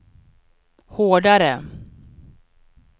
hårdare